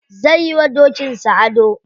Zai yi wa dokin sa ado.